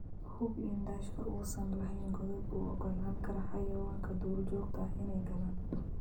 Hubi in daashka uusan lahayn godad u oggolaan kara xayawaanka duurjoogta ah inay galaan.